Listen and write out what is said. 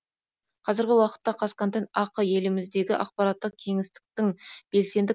қазіргі уақытта қазконтент ақ еліміздегі ақпараттық кеңістіктің белсенді